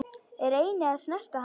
Reyni að snerta hann.